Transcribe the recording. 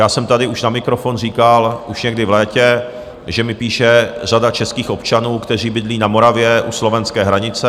Já jsem tady už na mikrofon říkal, už někdy v létě, že mi píše řada českých občanů, kteří bydlí na Moravě u slovenské hranice.